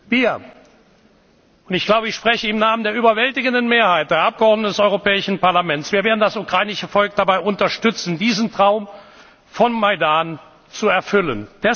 Majdan erfüllt. Wir und ich glaube, ich spreche im Namen der überwältigenden Mehrheit der Mitglieder des Europäischen Parlaments werden das ukrainische Volk dabei unterstützen, diesen Traum vom Majdan